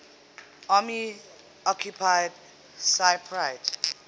army occupied cypriot